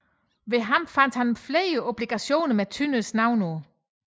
Hos ham fandt man flere obligationer med Tønders navn på